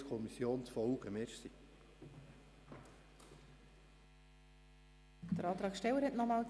Der Motionär, Grossrat Löffel, wünscht das Wort nochmals.